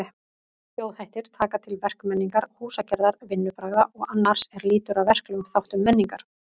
Þjóðhættir taka til verkmenningar, húsagerðar, vinnubragða og annars er lýtur að verklegum þáttum menningar.